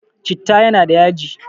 Citta yana da yaji